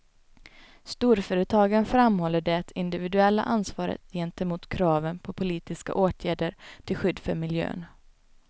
Storföretagen framhåller det individuella ansvaret gentemot kraven på politiska åtgärder till skydd för miljön.